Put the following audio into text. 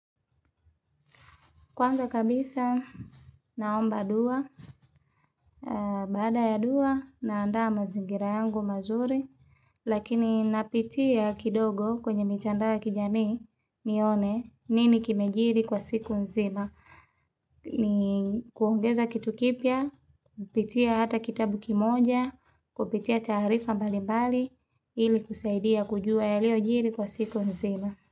Kwanza kabisa naomba dua, baada ya dua na andaa mazingira yangu mazuri. Lakini napitia kidogo kwenye mitandao ya kijamii nione nini kimejiri kwa siku nzima. Kuongeza kitu kipya, kupitia hata kitabu kimoja, kupitia taarifa mbalimbali ili kusaidia kujua yalio jiri kwa siku nzima.